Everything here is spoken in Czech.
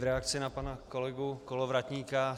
V reakci na pana kolegu Kolovratníka.